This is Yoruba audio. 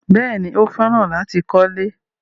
Bẹ́ẹ̀ni, Ó fẹ́ràn láti kọ́lẹ́.